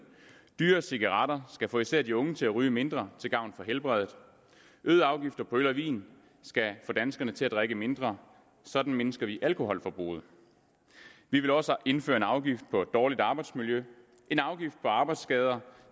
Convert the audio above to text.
dyrere cigaretter skal få især de unge til at ryge mindre til gavn for helbredet øgede afgifter på øl og vin skal få danskerne til at drikke mindre sådan mindsker vi alkoholforbruget vi vil også indføre en afgift på dårligt arbejdsmiljø en afgift på arbejdsskader